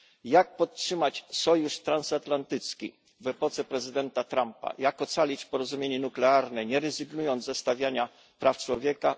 Jak podtrzymać sojusz transatlantycki w epoce prezydenta Trumpa, jak ocalić porozumienie nuklearne, nie rezygnując ze stawiania praw człowieka?